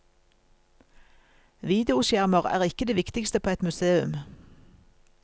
Videoskjermer er ikke det viktigste på et museum.